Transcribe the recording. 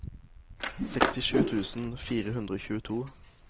sekstisju tusen fire hundre og tjueto